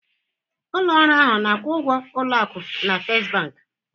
Ụlọ ọrụ ahụ ọ na-akwụ ụgwọ ụlọ akụ na First Bank?